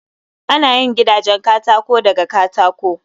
Ana yin gidanjen katako daga katako